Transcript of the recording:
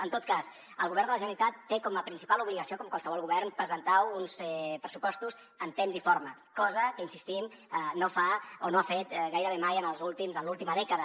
en tot cas el govern de la generalitat té com a principal obligació com qualsevol govern presentar uns pressupostos en temps i forma cosa que hi insistim no fa o no ha fet gairebé mai en l’última dècada